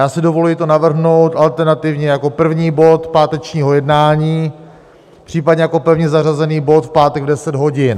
Já si dovoluji to navrhnout alternativně jako první bod pátečního jednání, případně jako pevně zařazený bod v pátek v 10 hodin.